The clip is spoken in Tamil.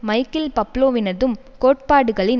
மைக்கேல் பப்லோவினதும் கோட்பாடுகளின்